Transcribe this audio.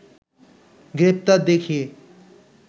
গ্রেপ্তার দেখিয়ে